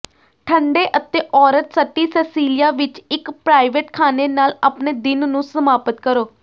ਠੰਢੇ ਅਤੇ ਔਰਤ ਸਟੀ ਸੈਸੀਲਿਆ ਵਿਚ ਇਕ ਪ੍ਰਾਈਵੇਟ ਖਾਣੇ ਨਾਲ ਆਪਣੇ ਦਿਨ ਨੂੰ ਸਮਾਪਤ ਕਰੋ